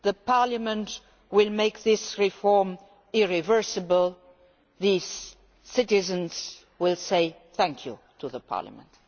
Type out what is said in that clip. Parliament will make this reform irreversible. Our citizens will say thank you to Parliament.